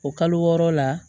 O kalo wɔɔrɔ la